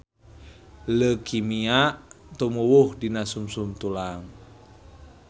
Leukemia tumuwuh dina sungsum tulang